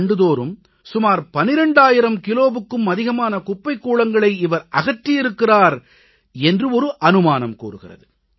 ஆண்டுதோறும் சுமார் 12000 கிலோவுக்கும் அதிகமான குப்பைக் கூளங்களை இவர் அகற்றியிருக்கிறார் என்று அனுமானம் கூறுகிறது